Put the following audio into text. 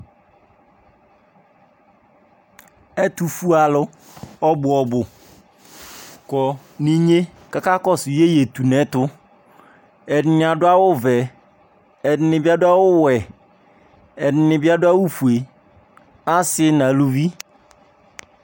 Ɛtufue alʊ ɔbʊɔbʊ kɔ ninye kakakɔsʊ yeyetʊnɛtʊ Ɛdɩnɩ adʊ awʊvɛ Ɛdɩnɩbɩ adʊ awʊwɛ Ɛdɩnɩbɩ adʊ awufoe Asi naluvi